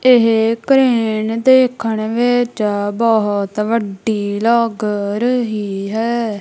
ਇਹ ਕਰੇਨ ਦੇਖਣ ਵਿੱਚ ਬਹੁਤ ਵੱਡੀ ਲੱਗ ਰਹੀ ਹੈ।